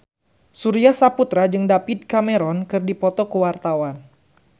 Surya Saputra jeung David Cameron keur dipoto ku wartawan